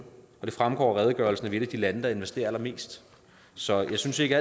det fremgår af redegørelsen at vi af de lande der investerer allermest så jeg synes ikke